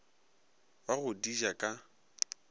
ba go di ja ka